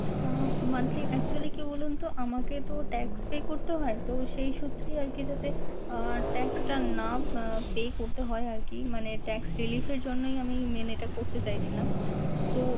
আহ monthly actually কি বলুন তো আমাকে তো tax pay করতে হয়। তো সেই সূত্রেই আরকি জাতে যাতে আহ tax টা না আহ pay করতে হয় আরকি মানে tax relief জন্যই আমি main এইটা করতে চাইছিলাম। তো,